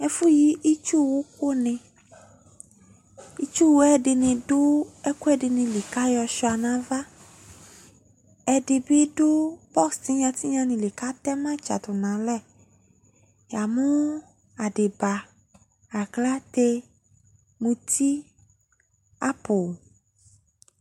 Ɛfu yi itsuwu ko neItsuwuɛ de ne do ɛkude li ka yɔ sua nava Ɛde be do bos tinya tinya ne li ka tɛ ma dza nalɛ Ya mo adiba , aklate, muti, apoo